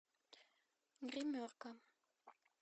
гримерка